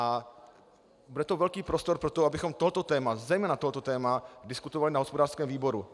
A bude to velký prostor pro to, abychom tohle téma - zejména tohle - téma diskutovali na hospodářském výboru.